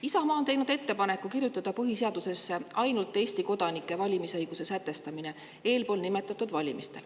Isamaa on teinud ettepaneku kirjutada põhiseadusesse ainult Eesti kodanike valimisõigus eelpool nimetatud valimistel.